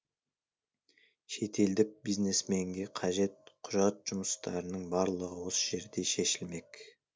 шетелдік бизнесменге қажет құжат жұмыстардың барлығы осы жерде шешілмек